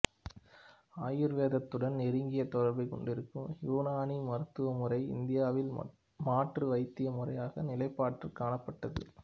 ஆயுர்வேதத்துடன் நெருங்கிய தொடர்பைக் கொண்டிருந்த இயூனானி மருத்துவ முறை இந்தியாவில் மாற்று வைத்திய முறையாக நிலைப்பற்று காணப்பட்டது